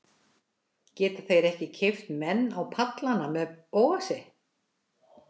Geta þeir ekki keypt menn á pallana með Bóasi?